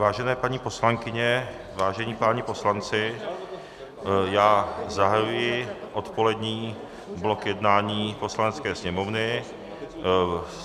Vážené paní poslankyně, vážení páni poslanci, já zahajuji odpolední blok jednání Poslanecké sněmovny.